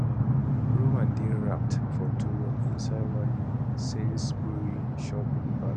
roman dey wrapped for towel inside one sainsbury shopping bag